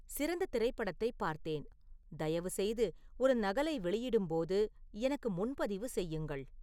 சிறந்த திரைப்படத்தைப் பார்த்தேன், தயவுசெய்து ஒரு நகலை வெளியிடும் போது எனக்கு முன்பதிவு செய்யுங்கள்